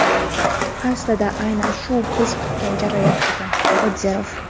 Aslida aynan shu biz kutgan jarayon edi – Qodirov.